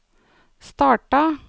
starta